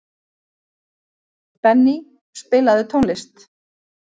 Benný, spilaðu tónlist.